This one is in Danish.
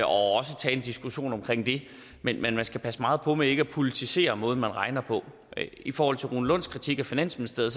også tage en diskussion omkring det men man skal passe meget på med ikke at politisere måden man regner på i forhold til rune lunds kritik af finansministeriet